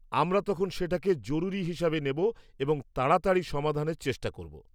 আমরা তখন সেটাকে জরুরি হিসাবে নেব এবং তাড়াতাড়ি সমাধানের চেষ্টা করব।